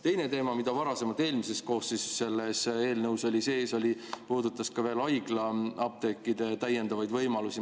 Teine teema, mis varasemalt, eelmises koosseisus oli selles eelnõus sees, puudutas haiglaapteekide täiendavaid võimalusi.